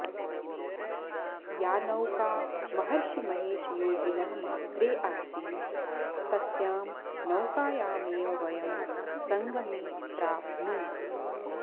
या नौका महर्षिमहेशयोगिनः मात्रे आसीत् तस्यां नौकायामेव वयं सङ्गमे प्राप्नुम